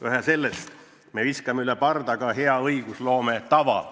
Vähe sellest, me viskame üle parda ka hea õigusloome tava.